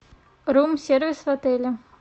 рум сервис в отеле